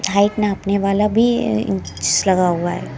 Height नापने वाला भी इंच लगा हुआ है।